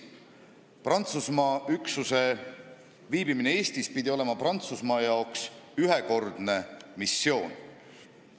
Prantsuse üksuse viibimine Eestis pidi olema Prantsusmaa jaoks ühekordne missioon.